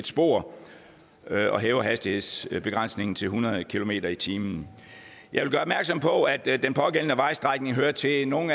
spor og hæver hastighedsbegrænsningen til hundrede kilometer per time jeg vil gøre opmærksom på at den pågældende vejstrækning hører til nogle